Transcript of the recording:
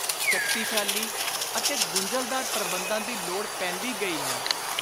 ਸ਼ਕਤੀਸ਼ਾਲੀ ਅਤੇ ਗੁੰਝਲਦਾਰ ਪ੍ਰਬੰਧਾਂ ਦੀ ਲੋੜ ਪੈਂਦੀ ਗਈ ਹੈ